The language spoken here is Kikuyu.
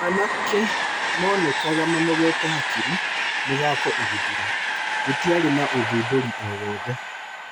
Anake monekaga manogete hakiri mũthako ũgĩthira, gũtiarĩ na ũthundũri o-wothe